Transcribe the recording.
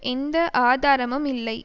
எந்த ஆதாரமும் இல்லை